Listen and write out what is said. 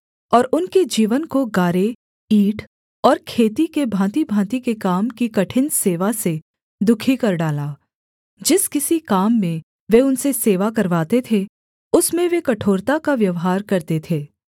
और उनके जीवन को गारे ईंट और खेती के भाँतिभाँति के काम की कठिन सेवा से दुःखी कर डाला जिस किसी काम में वे उनसे सेवा करवाते थे उसमें वे कठोरता का व्यवहार करते थे